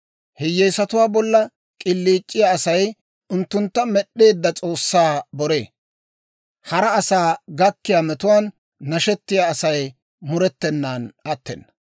Hiyyeesatuwaa bolla k'iliic'iyaa Asay unttuntta med'd'eedda S'oossaa boree; hara asaa gakkiyaa metuwaan nashetiyaa Asay murettenan attena.